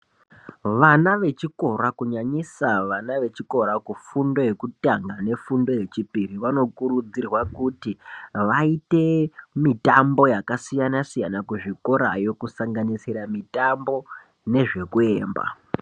Vana vechikora kunyanyisa vana vechikora kufundo yekutanga nefundo yechipiri vanokurudzirwa kuti vaite mitombo yakasiyana siyana kuzvikora yo kusanganisira mitambo nezvekuemba.